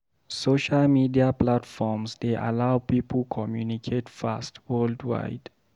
Social media platforms dey allow people communicate fast worldwide.